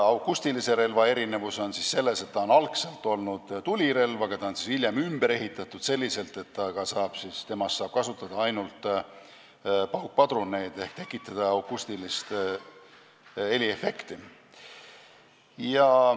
Akustilise relva eripära on selles, et see on algselt olnud tulirelv, aga on hiljem ümber ehitatud nii, et selles saab kasutada ainult paukpadruneid ehk tekitada akustilist heliefekti.